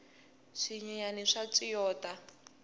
swinyenyani swa tswiyota